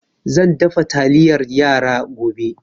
Zan dafa taliyar yara gobe